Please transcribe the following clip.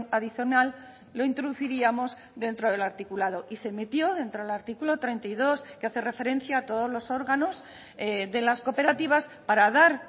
adicional lo introduciríamos dentro del articulado y se metió dentro del artículo treinta y dos que hace referencia a todos los órganos de las cooperativas para dar